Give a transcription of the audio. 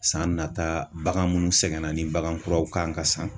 San nata bagan munnu sɛgɛnna ni bagan kuraw kan ka san.